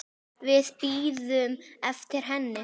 Við bíðum eftir henni